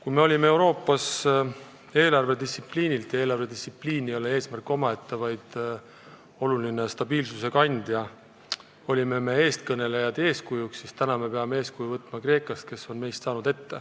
Kui me olime Euroopas eelarvedistsipliinilt – ja eelarvedistsipliin ei ole eesmärk omaette, vaid oluline stabiilsuse kandja – eeskujuks, siis nüüd peame eeskuju võtma Kreekast, kes on meist ette jõudnud.